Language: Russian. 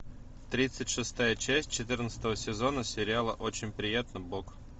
тридцать шестая часть четырнадцатого сезона сериала очень приятно бог